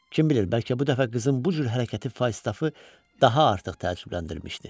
Kim bilir bəlkə bu dəfə qızın bu cür hərəkəti Faustafı daha artıq təəccübləndirmişdi.